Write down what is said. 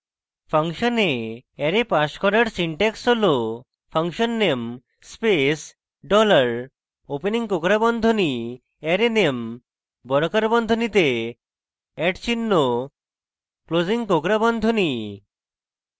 ফাংশনে array pass করার syntax হল function _ name space $opening কোঁকড়া বন্ধনী array _ name বর্গাকার বন্ধনীতে @চিহ্ন closing কোঁকড়া বন্ধনী